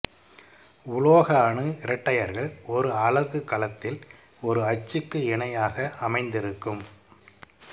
உலோக அணு இரட்டையர்கள் ஒரு அலகு கலத்தில் ஒரு அச்சுக்கு இணையாக அமைந்திருக்கும்